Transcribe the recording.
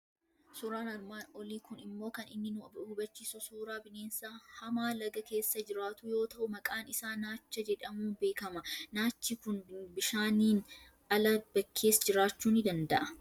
Suuraan armaan olii kun immo kan inni nu hubachiisu suuraa bineensa hamaa laga keessa jiraatuu yoo ta'u, maqaan isaa naacha jedhamuun beekama. Naachi kun bishaaniin ala, bakkees jiraachuu ni danda'a.